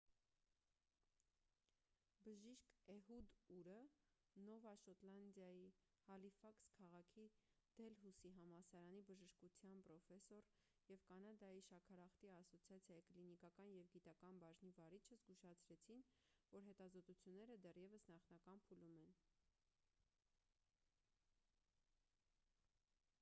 բժիշկ էհուդ ուրը նովա շոտլանդիայի հալիֆաքս քաղաքի դելհուսի համալսարանի բժշկության պրոֆեսոր և կանադայի շաքարախտի ասոցիացիայի կլինիկական և գիտական բաժնի վարիչը զգուշացրեցին որ հետազոտությունները դեռևս նախնական փուլում են